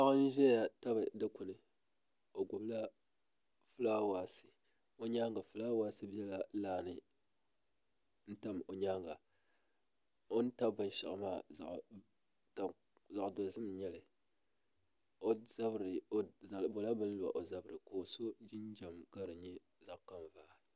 Paɣa n ʒɛya tabi Dikpuni o gbubila fulaawaasi o nyaanga fulaawaasi biɛla laa ni n tam o nyaanga o ni tabi binshaɣu maa zaɣ dozim n nyɛli o bola bini lo o zabiri ka o so jinjɛm ka di nyɛ zaɣ kanvaa